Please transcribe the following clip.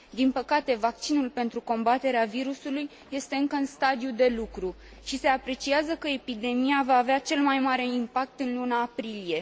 Din păcate, vaccinul pentru combaterea virusului este încă în stadiu de lucru și se apreciază că epidemia va avea cel mai mare impact în luna aprilie.